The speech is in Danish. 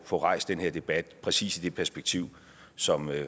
få rejst den her debat præcis i det perspektiv som